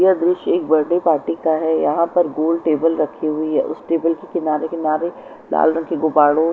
यह दृश्य एक बर्थडे पार्टी का है यहाँ पर गोल टेबल रखी हुई है उस टेबल के किनारे किनारे लाल रंग के गुबारों--